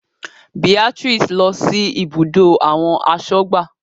Beatrice lọ sí ibùdó àwọn asọ́gbà